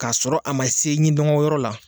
K'a sɔrɔ a ma se ɲidɔnkoyɔrɔ la